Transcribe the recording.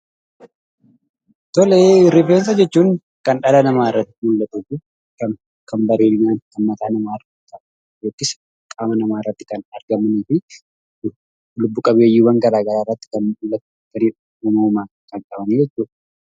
Rifeensa jechuun kan dhala namaa irratti biqilu, kan bareedina mataa namaa guddisu, qaama namaa irratti kan argamuufi lubbu-qabeeyyiiwwan garagaraa irratti biqiluufi uumamumaan kan qabanii jechuudha.